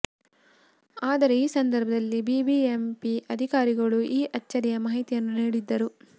ಆದರೆ ಈ ಸಂದರ್ಭದಲ್ಲಿ ಬಿಬಿಎಂಪಿ ಅಧಿಕಾರಿಗಳು ಈ ಅಚ್ಚರಿಯ ಮಾಹಿತಿಯನ್ನು ನೀಡಿದ್ದರು